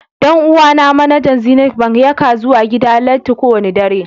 Dan uwa na manajan zenith Bank ya ka zuwa gida lati kowani dare.